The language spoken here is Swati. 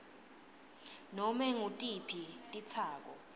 ngabe ngutiphi titsako